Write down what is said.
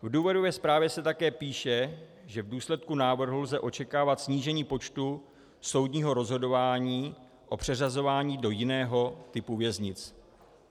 V důvodové zprávě se také píše, že v důsledku návrhu lze očekávat snížení počtu soudního rozhodování o přeřazování do jiného typu věznic.